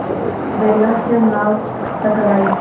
बेला से नाव टकराई